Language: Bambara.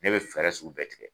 Ne bɛ fɛɛrɛ sugu bɛɛ tigɛ.